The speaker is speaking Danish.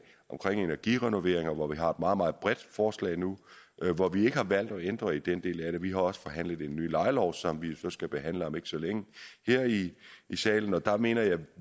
omkring energirenoveringer og vi har et meget meget bredt forslag nu hvor vi ikke har valgt at ændre i den del af det vi også forhandlet en ny lejelov som vi nu skal behandle om ikke så længe her i salen og der mener jeg vi